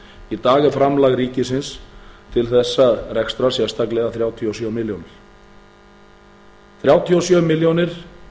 í dag er framlag ríkisins til þessa rekstrar sérstaklega þrjátíu og sjö milljónir þrjátíu og sjö milljónir